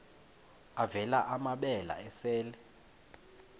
avela amabele esel